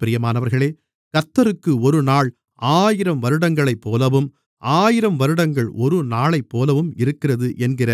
பிரியமானவர்களே கர்த்தருக்கு ஒருநாள் ஆயிரம் வருடங்களைப்போலவும் ஆயிரம் வருடங்கள் ஒருநாளைப்போலவும் இருக்கிறது என்கிற